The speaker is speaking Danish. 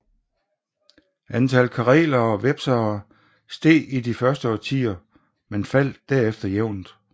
Antallet karelere og vepsere steg i de første årtier men faldt derefter jævnt